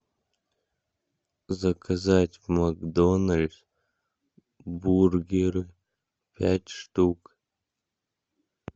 заказать в макдональдс бургер пять штук